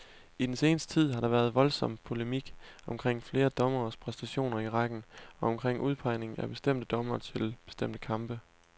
I den seneste tid har der været voldsom polemik omkring flere dommeres præstationer i rækken, og omkring udpegningen af bestemte dommere til bestemte kampe.